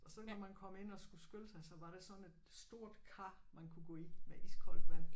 Og så når man kom ind og skulle skylle sig så var der sådan et stort kar man kunne gå i med iskoldt vand